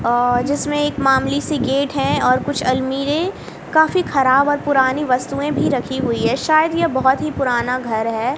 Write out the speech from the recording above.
और जिसमें एक मामूली सी गेट है और कुछ अलमारे काफी खराब और पुरानी वस्तुएं भी रखी हुई है शायद यह बहोत ही पुराना घर है।